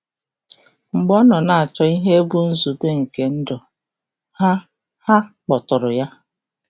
Mgbe ọ nọ na-achọ ihe bụ nzube nke ndụ, Ha Ha kpọtụụrụ ya.